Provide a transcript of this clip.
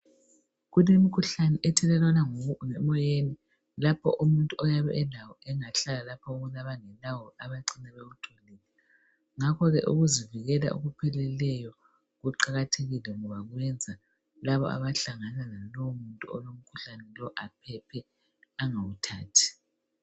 Kulemikhuhlane ethelelwana ngokungena emoyeni lapho umuntu oyabe elawo engahlala labantu abangelawo abacina bewutholile .Ngakho ke ukuzivikela ngokupheleyo kuqakathekile ngoba kuyenza Laba abantu abahlangana lomuntu lowu bangawuthathi.